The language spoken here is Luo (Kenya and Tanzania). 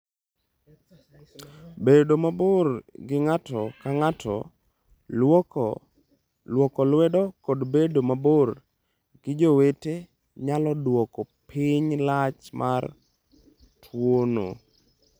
Bedo mabor gi ng'ato ka ng'ato, lwoko lwedo kod bedo mabor gi jowete nyalo dwoko piny lach mar tuwono.